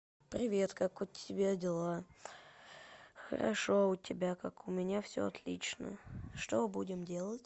привет как у тебя дела хорошо а у тебя как у меня все отлично что будем делать